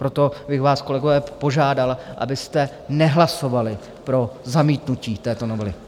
Proto bych vás, kolegové, požádal, abyste nehlasovali pro zamítnutí této novely.